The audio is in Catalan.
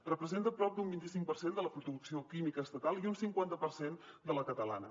representa prop d’un vint i cinc per cent de la producció química estatal i un cinquanta per cent de la catalana